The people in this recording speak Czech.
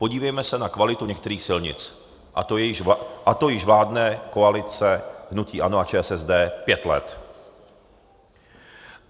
Podívejme se na kvalitu některých silnic, a to již vládne koalice hnutí ANO a ČSSD pět let.